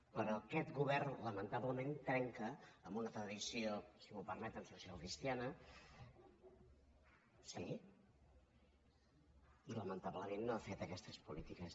però aquest govern lamentablement trenca amb una tradició si m’ho permeten socialcristiana sí i lamentablement no han fet aquestes polítiques